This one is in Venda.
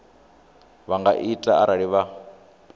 vha nga ita arali vha